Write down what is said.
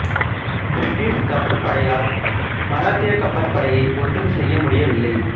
British கப்பற் படையால் மராத்திய கப்பற் படையை ஒன்றும் செய்ய முடியவில்லை